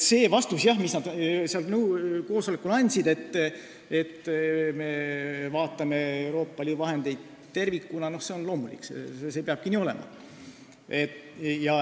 See vastus, mis nad seal koosolekul andsid, et me vaatame Euroopa Liidu vahendeid tervikuna, on loomulik, see peabki nii olema.